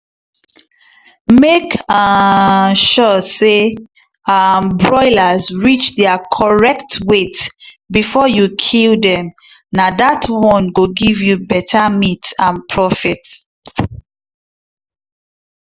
make um sure say um broilers reach their correct weight before you kill dem na that one go give you better meat and profit.